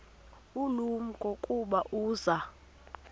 ulumko ukuba uza